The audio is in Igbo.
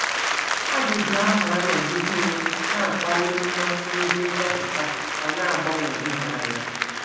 Ajụjụ ahụ anọgidewo na - akpali mmasị ndị nchọpụta ma na - agbagwoju ha anya.